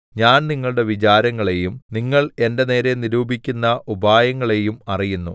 ഞാൻ നിങ്ങളുടെ വിചാരങ്ങളെയും നിങ്ങൾ എന്റെ നേരെ നിരൂപിക്കുന്ന ഉപായങ്ങളെയും അറിയുന്നു